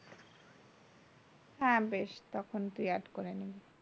হ্যাঁ বেশ তখন তুই add করে নিবি।